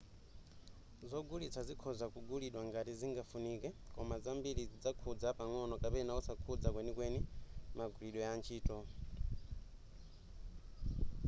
zogulitsa zikhoza kugulidwa ngati zingafunike koma zambiri zidzakhudza pang'ono kapena osakhudza kwenikweni magwiridwe a ntchito